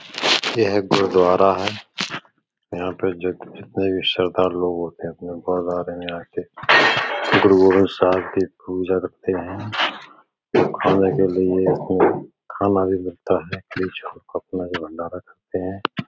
यह गुरद्वारा है। यहाँ पर जितने भी सरदार लोग होते हैं। आपने गुरद्वारे में आके गुरुगोबिंद साहिब की पूजा रखते हैं और खाने के लिए खाना भी मिलता है बीच में अपना यह भंडार भी करते हैं।